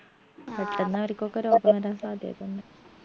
പെട്ടന്നവരിക്കൊക്കെ രോഗം വരാൻ സാധ്യതയുണ്ട്